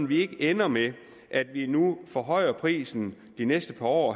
vi ikke ender med at vi nu forhøjer prisen de næste par år